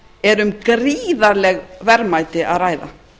er um gríðarleg verðmæti að ræða